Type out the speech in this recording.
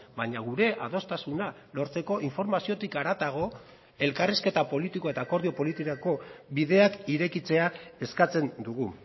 baina gure adostasuna lortzeko informaziotik haratago elkarrizketa politiko eta akordio politikako bideak irekitzea eskatzen dugu